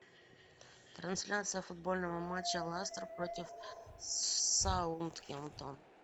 трансляция футбольного матча лестер против саутгемптон